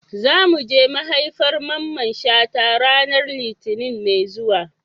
Za mu je maihaifar Mamman Shata ranar Litinin mai zuwa.